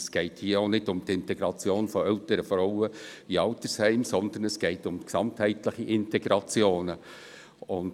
Es geht hier auch nicht um die Integration von älteren Frauen in Altersheimen, sondern es geht um gesamtheitliche Integrationen.